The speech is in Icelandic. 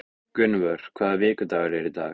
Gunnvör, hvaða vikudagur er í dag?